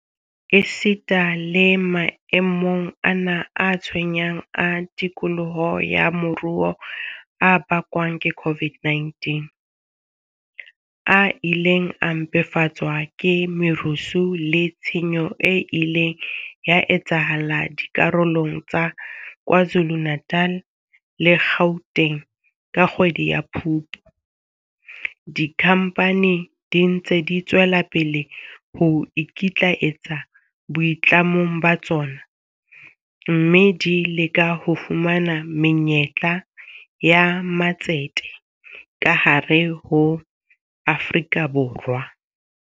Esita le mae mong ana a tshwenyang a tikoloho ya moruo a bakwang ke COVID-19, a ileng a mpefatswa ke merusu le tshenyo e ileng ya etsahala dikarolong tsa KwaZuluNatal le Gauteng ka kgwedi ya Phupu, dikhampani di ntse di tswela pele ho ikitlaetsa boitlamong ba tsona, mme di leka ho fumana menyetla ya matsete ka hare ho Afrika Borwa.